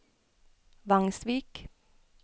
Vangsvik